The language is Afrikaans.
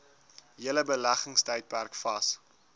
hele beleggingstydperk vas